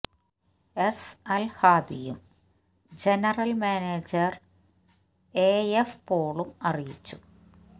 S അല് ഹാദിയും general manager A F പോളും അറിയിച്ചു